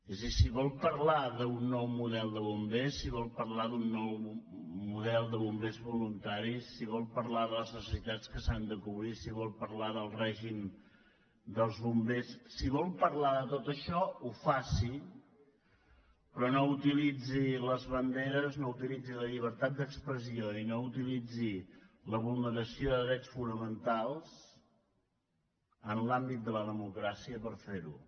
és a dir si vol parlar d’un nou model de bombers si vol parlar d’un nou model de bombers voluntaris si vol parlar de les necessitats que s’han de cobrir si vol parlar del règim dels bombers si vol parlar de tot això faci ho però no utilitzi les banderes no utilitzi la llibertat d’expressió i no utilitzi la vulneració de drets fonamentals en l’àmbit de la democràcia per fer ho